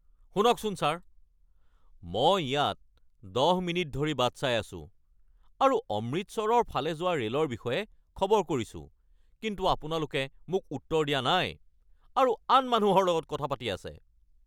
শুনকচোন ছাৰ! মই ইয়াত ১০ মিনিট ধৰি বাট চাই আছো আৰু অমৃতসৰৰ ফালে যোৱা ৰে'লৰ বিষয়ে খবৰ কৰিছোঁ কিন্তু আপোনালোকে মোক উত্তৰ দিয়া নাই আৰু আন মানুহৰ লগত কথা পাতি আছে।